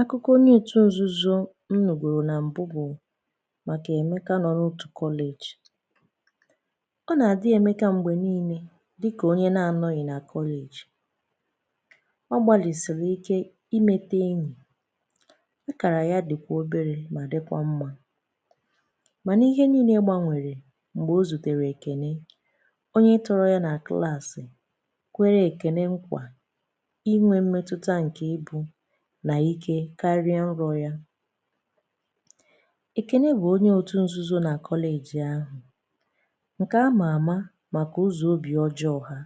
Akụkọ onye otu nzuzo m nuburu na m̀bụ bụ màkà Emeka nọ n'otu college. Ọ nà-àdị́ Emeka m̀gbè niilė dịkà onye na-anọghị̀ nà college. Ọ gbalịsìrì ike imete enyì. Akàrà ya dị̀kwà obere mà dịkwa mmȧ. Mànà ihe niilė gbanwèrè m̀gbè o zùtèrè Ekène onye tọrọ ya nà klaàsị̀ kwere èkène nkwa inwe mmetụta nke i pu nà ike karia nrọ̀ ya. Ekene bụ onye otù nzuzo na kọleji ahụ̀ ǹkè a mààmà màkà ụzọ obì ọjọọ̀ ha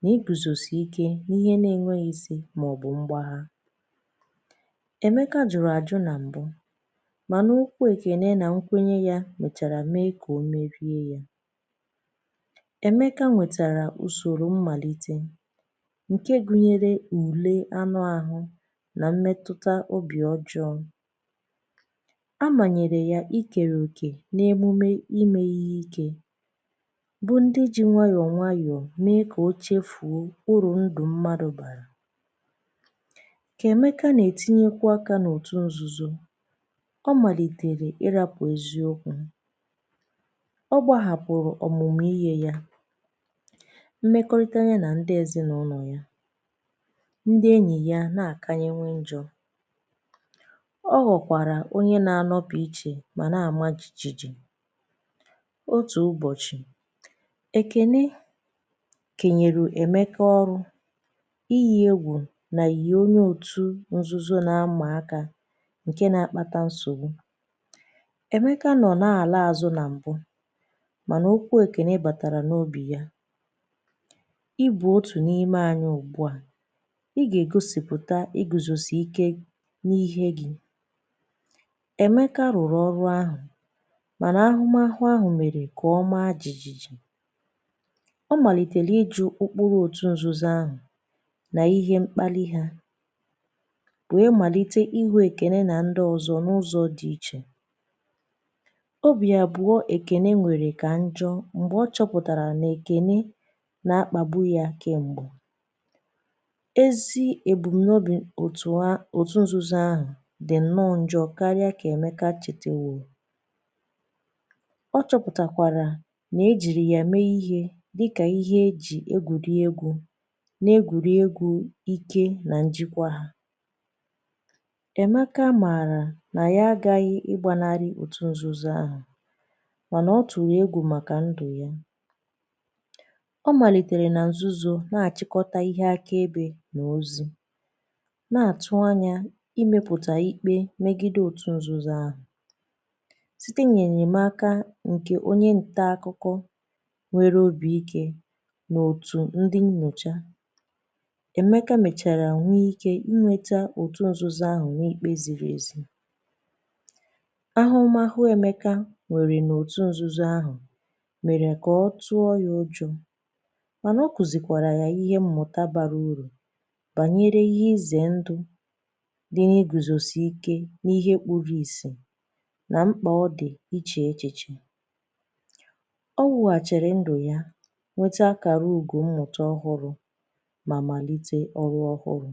nà igùzòsi ike n’ihe na-enweghị isi màọ̀bụ̀ mgbàgha. Emeka jụ̀rụ̀ àjụ nà m̀bụ, mànà okwu ekene na nkwenye yà mèchàrà mee kà o merie yà. Emeka nwètàrà ùsòrò mmàlite nke gụnyere ùle anụ àhụ na mmetụta obì ọjọọ̀. A manyèrè ya ikère okè n’emume i me ihe ike bụ̀ ndị ji nwayọ̀ nwayọ̀ mee kà ochefuo uru ndụ̀ mmadụ̀ bàrà. Kà emekà nà-ètinyekwu akà n’otù nzuzò, ọ màlìtèrè ịrapụ̀ eziokwu, ọ gbȧhapụ̀rụ̀ ọ̀mụ̀mụ̀ ihe yȧ, mmekọrịtà nyà nà ndị ezìnàụlọ̀ ya, ndị enyi ya na-akawanye njọ. Ọhọ̀kwàrà onye na-anọ̀pụ ichè mà na-amà jìjìji. Otù ụbọ̀chị̀, èkeni kenyèrè èmeka ọrụ̇ iyi̇ egwù nà yìyè onye otù nzuzo na amà akȧ ǹke na-akpàtà nsògbu. Emeka nọ̀ n’àla àzụ nà m̀bụ mànà okwu èkène bàtàrà n’obì yȧ: "ị bụ otù n’ime anyị ùgbu à, i ha-egosipụta iguzosi ike n'ihe gị". Emeka rụ̀rụ̀ ọrụ̀ ahụ̀ mànà ahụmahụ ahụ̀ mèrè kà ọmaa jìjìji. Ọ màlìtèrè i ji̇ okporo òtù nzuzo ahụ̀ nà ihe mkpali hȧ wee màlite ị hụ èkène nà ndị ọzọ̇ n’ụzọ̇ dị ichè. Obì abụ̀ọ èkène nwèrè kà njọ̇ m̀gbè ọ chọpụ̀tàrà nà èkène nà-akpàbu yȧ kem̀gbe. Ezi ebumnobi otu a otu nzuzo ahụ dị̀ nnọ̇ njọ̇ karịa kà èmekà chètèwoo. Ọ chọ̇pụ̀tàkwàrà nà ejìrì yà mee ihe dịkà ihe e jì egwùriegwu na-egwùriegwu ike nà njịkwa hȧ. Emeka mààrà nà ya agȧghị ịgbȧnari òtù nzuzo ahụ̀ mànà ọ tụ̀rụ̀ egwu màkà ndụ̀ ya. Ọ màlìtèrè nà nzuzo na-àchịkọta ihe akaebe nà ozi, na-atụ anya imėpụ̀tà ikpe megide òtù nzuzo ahụ̀. Site n’ènyemaaka ǹkè onye nta akụkọ nwere obi̇ike n’òtù ndi nyocha, Emekà mèchàrà nwee ike inwėtà òtù nzuzo ahụ̀ n’ikpė ziri ezi. Ahụmahụ emekà nwèrè n’òtù nzuzo ahụ̀ mèrè kà ọ tụọ ya ụjọ̇ mànà ọ kùzìkwàrà ya ihe mmụ̀tà bara urù bànyere ihe izè ndụ dị iguzosiike n'ihe kpùrù ìsì nà mkpà ọ dị̀ ichè echichè. Ọ wụ̀hàchirindụ̀ ya nwete àkàrà ugò mmụ̀ta ọhụrụ̇ mà màlite ọrụ ọhụrụ̇.